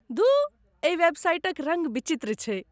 धुः, एहि वेबसाइटक रङ्ग विचित्र छैक।